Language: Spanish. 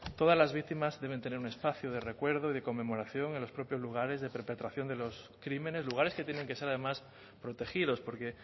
todas las víctimas deben tener un espacio de recuerdo y de conmemoración en los propios lugares de perpetración de los crímenes lugares que tienen que ser además protegidos porque